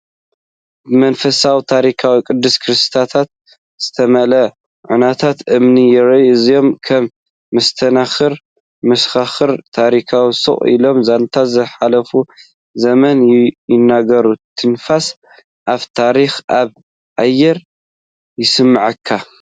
ብመንፈስ ታሪኽን ቅዱስ ቅርስታትን ዝተመልአ ዑናታት እምኒ ይርአ። እዚኦም ከም መስተንክር መሰኻኽር ታሪኽ ስቕ ኢሎም ዛንታ ዝሓለፈ ዘመን ይነግሩ፤ ትንፋስ ኣፈ ታሪኽ ኣብ ኣየር ይስመዓካ።